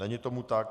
Není tomu tak.